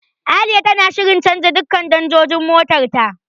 Aliya tana shirin canja duka danjojin motar ta.